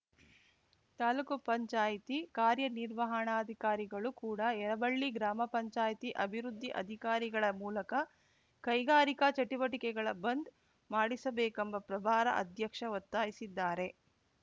ತಾಲೂಕು ಪಂಚಾಯತಿ ಕಾರ್ಯನಿರ್ವಹಣಾಧಿಕಾರಿಗಳು ಕೂಡ ಯರಬಳ್ಳಿ ಗ್ರಾಮ ಪಂಚಾಯತಿ ಅಭಿವೃದ್ಧಿ ಅಧಿಕಾರಿಗಳ ಮೂಲಕ ಕೈಗಾರಿಕಾ ಚಟುವಟಿಕೆಗಳ ಬಂದ್‌ ಮಾಡಿಸಬೇಕೆಂಬ ಪ್ರಭಾರ ಅಧ್ಯಕ್ಷ ಒತ್ತಾಯಿಸಿದ್ದಾರೆ